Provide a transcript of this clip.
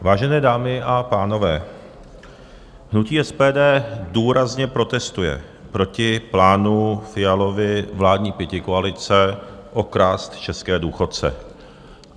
Vážené dámy a pánové, hnutí SPD důrazně protestuje proti plánu Fialovy vládní pětikoalice okrást české důchodce.